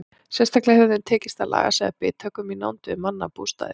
Sérstaklega hefur þeim tekist að laga sig að bithögum í nánd við mannabústaði.